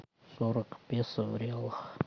сорок песо в реалах